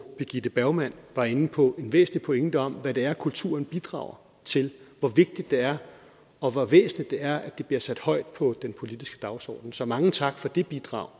birgitte bergman var inde på en væsentlig pointe om hvad det er kulturen bidrager til og hvor vigtigt det er og hvor væsentligt det er at den bliver sat højt på den politiske dagsorden så mange tak for det bidrag